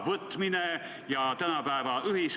Austatud ettekandja!